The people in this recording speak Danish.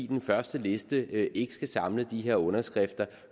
den første liste ikke skal samle de her underskrifter